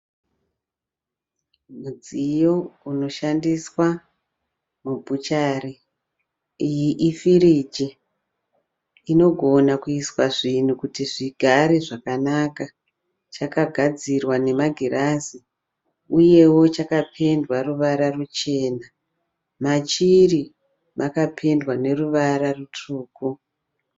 Mudziyo unoshandiswa mu bhuchari. Iyi i firiji inogona kuiswa zvinhu kuti zvigare zvakanaka. Chakagadzirwa nemagirazi, uyewo chakapendwa ruvara ruchena. Machiri makapendwa ne ruvara rutsvuku.